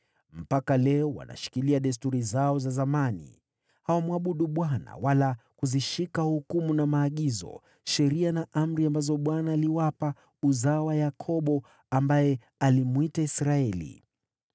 Mpaka leo wanashikilia desturi zao za zamani. Hawamwabudu Bwana wala kuzishika hukumu na maagizo, sheria na amri ambazo Bwana aliwapa uzao wa Yakobo, ambaye alimwita Israeli.